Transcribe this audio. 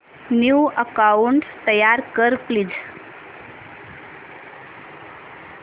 new account तयार कर please